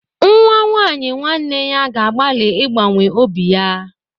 Nwa nwaanyị nwanne ya ga-agbalị ịgbanwe obi ya.